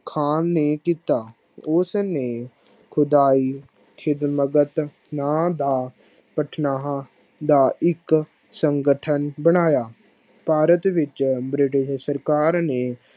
ਖਾਨ ਨੇ ਕੀਤਾ ਉਸ ਨੇ ਖੁਦਾਈ ਸਿਧਲਗਤ ਨਾ ਦਾ ਭਟਨਾਹਾ ਦਾ ਇਕ ਸੰਗਠਨ ਬਣਾਇਆ ਭਾਰਤ ਵਿਚ british ਸਰਕਾਰ ਨੇ